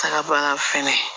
Taga ban fɛnɛ